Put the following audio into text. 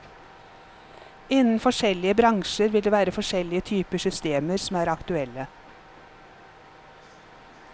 Innen forskjellige bransjer vil det være forskjellige typer systemer som er aktuelle.